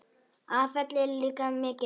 Afföll eru líka mikil.